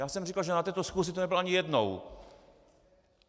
Já jsem říkal, že na této schůzi tu nebyl ani jednou.